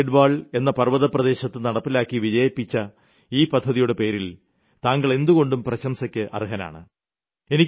പൌരിഗെഢ്വാൾ എന്ന പർവതപ്രദേശത്ത് നടപ്പിലാക്കി വിജയിപ്പിച്ച ഈ പദ്ധതിയുടെ പേരിൽ താങ്കൾ എന്തുകൊണ്ടും പ്രശംസയ്ക്ക് അർഹനാണ്